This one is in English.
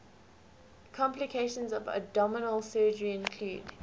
complications of abdominal surgery include